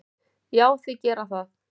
Já, þeir gera það.